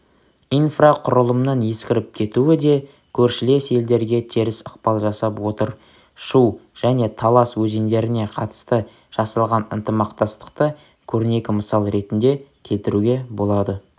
инфрақұрылымның ескіріп кетуі де көршілес елдерге теріс ықпал жасап отыр шу және талас өзендеріне қатысты жасалған ынтымақтастықты корнекі мысал ретінде келтіруге болады